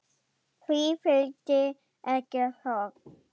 Því fylgdi ekki þögn.